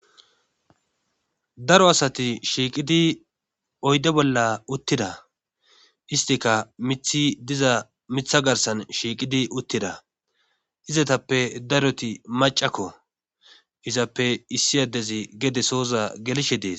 Daro asati shiiqidi oydde bolla uttida istika mithi diza mitha garsan shiiqidi uttida izatappe daroti macakko izappe issi addezi gede sooza gelishe dees.